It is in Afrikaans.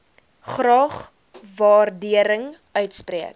graag waardering uitspreek